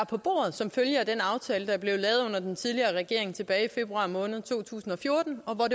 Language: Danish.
på bordet som følge af den aftale der er blevet lavet under den tidligere regering tilbage i februar måned to tusind og fjorten og